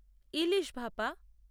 ইলিশ ভাপা